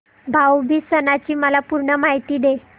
भाऊ बीज सणाची मला पूर्ण माहिती दे